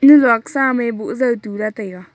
nyi lok sa am e boh zao tula taiga.